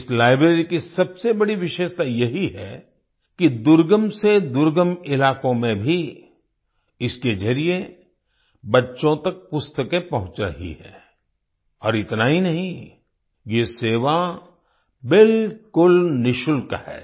इस लाइब्रेरी की सबसे बड़ी विशेषता यही है कि दुर्गम से दुर्गम इलाकों में भी इसके जरिए बच्चों तक पुस्तकें पहुँच रही हैं और इतना ही नहीं ये सेवा बिल्कुल निशुल्क है